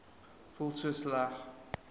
voel so sleg